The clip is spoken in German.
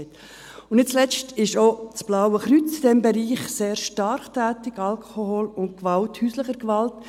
Nicht zuletzt ist auch das Blaue Kreuz in diesem Bereich sehr stark tätig: Alkohol und Gewalt, häusliche Gewalt.